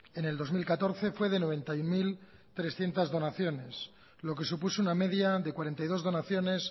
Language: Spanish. en el dos mil catorce fue de noventa y uno mil trescientos donaciones lo que supuso una media de cuarenta y dos donaciones